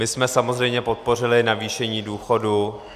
My jsme samozřejmě podpořili navýšení důchodů.